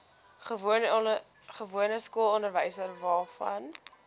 gewone skoolonderwys waarvan